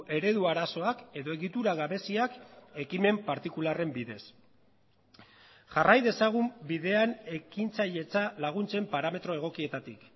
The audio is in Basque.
eredu arazoak edo egitura gabeziak ekimen partikularren bidez jarrai dezagun bidean ekintzailetza laguntzen parametro egokietatik